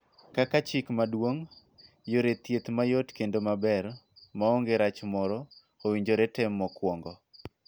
Kaka chik maduong, yore thieth mayot kendo maber (maonge rach moro) owinjore tem mokuongo.